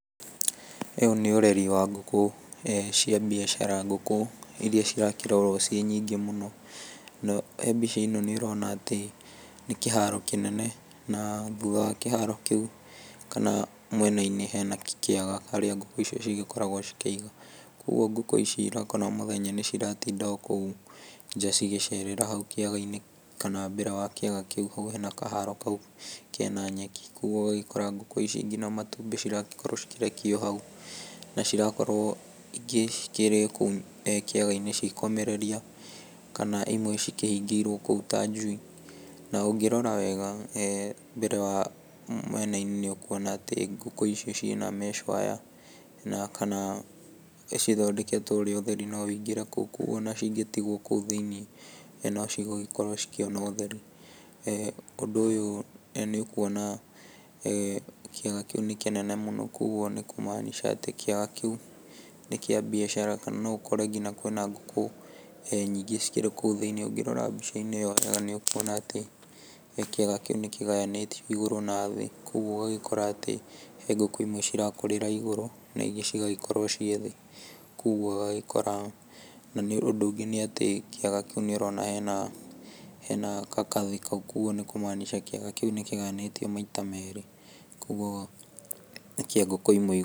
Ũyũ nĩ ũreri wa ngũkũ, ĩĩ cia biacara ngũkũ iria cirakĩrorwo ciĩ nyingĩ mũno. Na he mbica ĩno nĩ ũrona atĩ nĩ kĩharo kĩnene na thutha wa kĩharo kĩu, kana mwena-inĩ hena kĩaga harĩa ngũkũ icio cigĩkoragwo cikĩigwo. Koguo ngũkũ ici ũrakora mũthenya nĩ ciratinda o kũu nja cigĩcera hau kĩaga-inĩ, kana mbere wa kĩaga kĩu hau hena kaharo kau kena nyeki. Koguo ũgagĩkora ngũkũ icio ngina matumbĩ ciragĩkorwo cikĩrekia o hau, na cirakorwo ingĩ cikĩrĩ o kũu kĩaga-inĩ cigĩkomereria, kana imwe cikĩhingĩirwo kũu ta njui. Na ũngĩrora wega mbere, mwena-inĩ nĩ ũkwona atĩ ngũkũ ici ci ĩna mesh wire, na kana cithondeketwo ũrĩa ũtheri no wingĩre kũu. Koguo ona cingĩtigwo kũu thĩiniĩ no ci gũgĩkorwo cikĩona ũtheri. Ũndũ ũyũ nĩ ũkuona kĩaga kĩu nĩ kĩnene mũno, koguo nĩ kũ- maanisha atĩ kĩaga kĩu nĩ kĩa mbiacara, kana no ũkore ngina kwĩ na ngũkũ nyingĩ cikĩrĩ kũu thĩiniĩ. Ũ ngĩrora mbica ĩyo wega nĩ ũkuona atĩ kĩaga kĩu nĩ kĩgayanĩtio igũrũ, na thĩĩ, koguo ũgagĩkora atĩ he ngũkũ imwe ci rakũrĩra igũrũ, na ingĩ cigagĩkorwo ciĩ thĩĩ. Koguo ũgagĩkora na ũndũ ũngĩ nĩ atĩ kĩaga kĩu nĩ ũrona hena kakathĩ kau, koguo nĩ kũ- maanisha atĩ kĩaga kĩu nĩ kĩgayanĩtio maita meerĩ, koguo nĩ kĩa ngũkũ imwe igũrũ.